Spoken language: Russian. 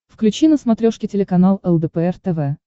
включи на смотрешке телеканал лдпр тв